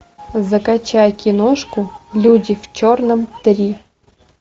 закачать киношку люди в черном три